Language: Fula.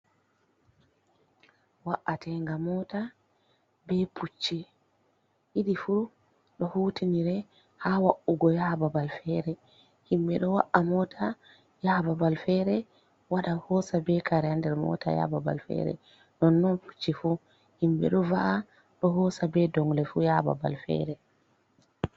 Wa’atenga mota be pucchi didi fu do hutinire ha wa’ugo yaha babal fere, himbe do wa’a mota yaha babal fere wada hosa be kare nder mota yaha babal fere, non non pucci fu himbe do va’a do hosa be dongle fu yaha babal fere.